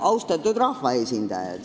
Austatud rahvaesindajad!